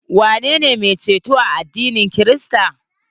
Waye ne mai ceto a addinin krista?